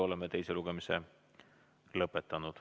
Oleme teise lugemise lõpetanud.